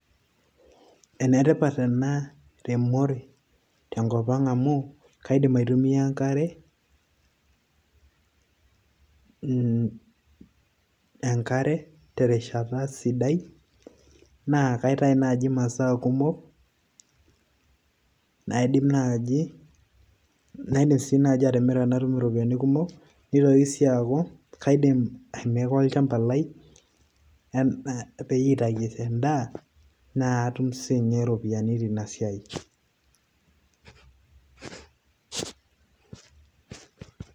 Enetipat ena temor tenkop ang amu kaidim aitumia enkare break enkare terishata sidai naa kaitai naai masaa kumok aidim naaji atimira natum iropiyiani kumok, nitoki sii aaku kaidim airemo olchamba lai natau endaaa naishoo ropiyiani tina siiai break